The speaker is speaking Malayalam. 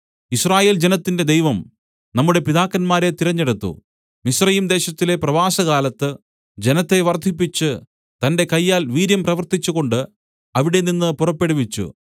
യിസ്രായേൽ ജനത്തിന്റെ ദൈവം നമ്മുടെ പിതാക്കന്മാരെ തിരഞ്ഞെടുത്തു മിസ്രയീംദേശത്തിലെ പ്രവാസകാലത്ത് ജനത്തെ വർദ്ധിപ്പിച്ച് തന്റെ കയ്യാൽ വീര്യം പ്രവർത്തിച്ചുകൊണ്ട് അവിടെനിന്ന് പുറപ്പെടുവിച്ചു